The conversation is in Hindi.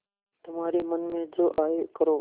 तुम्हारे मन में जो आये करो